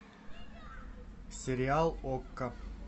сериал окко